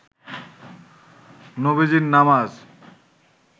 নবীজীর নামাজ